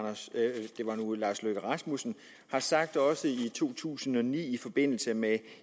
herre lars løkke rasmussen sagde i to tusind og ni i forbindelse med